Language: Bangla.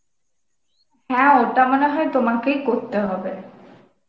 হ্যাঁ, ওটা মনে হয় তোমাকেই করতে হবে.